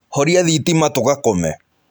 Horia thitima tũgakome.